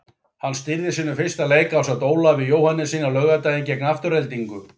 Hann stýrði sínum fyrsta leik ásamt Ólafi Jóhannessyni á laugardaginn gegn Aftureldingu.